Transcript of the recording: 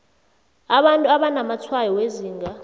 abantu abanamatshwayo wezinga